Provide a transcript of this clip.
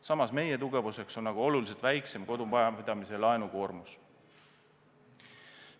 Samas on meie tugevuseks oluliselt väiksem kodumajapidamise laenukoormus.